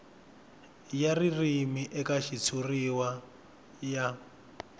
ya ririmi eka xitshuriwa ya